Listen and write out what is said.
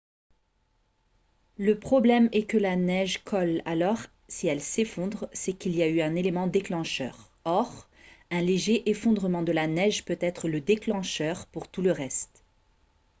le problème est que la neige colle alors si elle s'effondre c'est qu'il y a eu un élément déclencheur or un léger effondrement de la neige peut être le déclencheur pour tout le reste